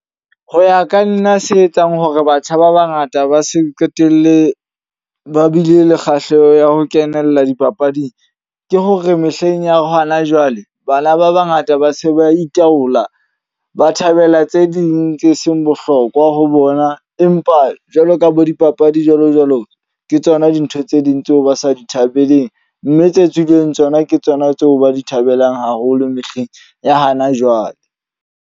Ho ya ka nna se etsang hore batjha ba ba ngata ba se qetelle ba bile le kgahleho ya ho kenella dipapading. Ke hore mehleng ya hona jwale bana ba ba ngata ba se ba itaola, ba thabela tse ding tse seng bohlokwa ho bona. Empa jwaloka bo dipapadi jwalo jwalo, ke tsona dintho tse ding tseo ba sa di thabeleng. Mme tse tswileng tsona ke tsona tseo ba di thabelang haholo mehleng ya hana jwale.